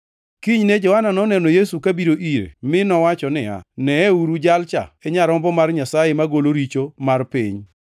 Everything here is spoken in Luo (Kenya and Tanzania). Kinyne Johana noneno Yesu kabiro ire, mi nowacho niya, “Neuru, Jalcha e Nyarombo mar Nyasaye, magolo richo mar piny!